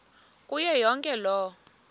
kuyo yonke loo